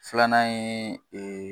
Filanan ye